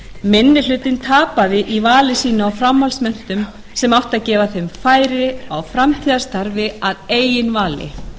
minni hlutinn tapaði í vali sínu á framhaldsmenntun sem átti að gefa þeim færi á framtíðarstarfi að eigin vali